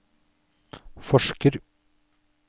forsker